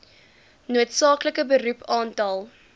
noodsaaklike beroep aantal